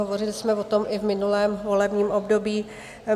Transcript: Hovořili jsme o tom i v minulém volebním období.